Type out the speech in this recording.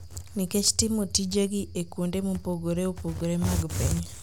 nikech timo tijegi e kuonde mopogore opogore mag piny.